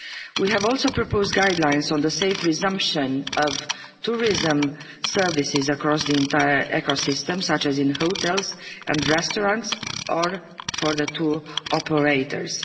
We have also proposed guidelines on the safe resumption of tourism services across the entire ecosystem, such as in hotels and restaurants, or for tour operators.